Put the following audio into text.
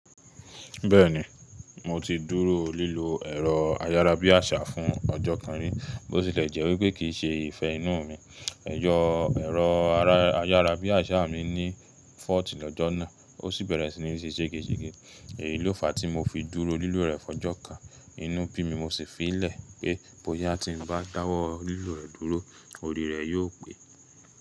Bẹ́ẹ̀ni, mo ti dúró lílo ẹ̀rọ ayárabíàṣá fún ọjọ́ kan rí, bó tilẹ̀ jẹ́ wípé kìí ṣe ìfẹ́ inú mi. Ẹ̀jọ ẹ̀rọ ayárabíàṣá mi ní fọ́ọ̀tì lọ́jọ́ náà, ó sì bẹ̀rẹ̀ sí ní ṣe ṣègesege. Èyí ló fa tí mo fi dúró lílo rẹ̀ fọ́jọ́ kan. Inú bí mi mo sì fi í lẹ̀ pé, bóyá tí n bá dáwọ́ lílo rẹ̀ dúró, orí rẹ̀ yóò pé.